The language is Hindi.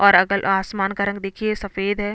और अगल आसमान का रंग देखिये सफेद है।